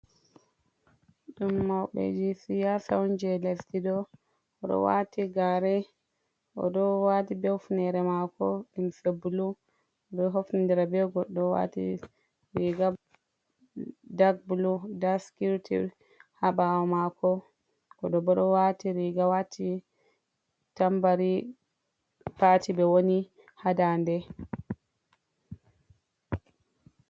Ɗum mawɓeji siyasa on jeles diɗo. Oɗowati gare, o ɗo wati be hefnere mako, limse bulu. Oɗo hofnindira be goɗɗo, riga dak bulu. Nda sikiriti ha ɓawo mako, o ɗo bo ɗowati riga wati tambari pati ɓe woni ha dande.